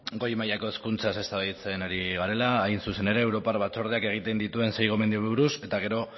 goi mailako hezkuntzaz eztabaidatzen ari garela hain zuzen ere europar batzordeak egiten dituen sei gomendiori buruz eta gero